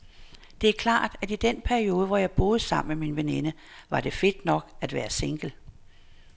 Det er klart, at i den periode, hvor jeg boede sammen med min veninde, var det fedt nok at være single.